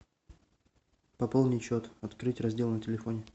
пополнить счет открыть раздел на телефоне